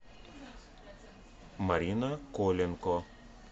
марина коленко